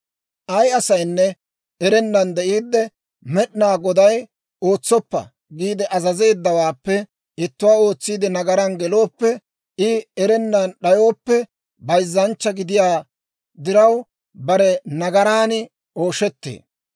«Ay asaynne erennan de'iidde, Med'inaa Goday, ‹Ootsoppa› giide azazeeddawaappe ittuwaa ootsiide nagaran gelooppe, I erana d'ayooppe bayzzanchcha gidiyaa diraw, bare nagaraan ooshettee.